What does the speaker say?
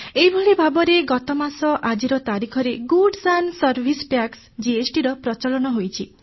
ଏହିଭଳି ଭାବରେ ଗତମାସ ଆଜିର ତାରିଖରେ goods and services tax GST ର ପ୍ରଚଳନ ହୋଇଛି